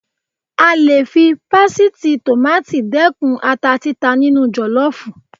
A le fi pásítìì tòmáátì dẹ́kun ata títa nínú jọ̀lọ́fù.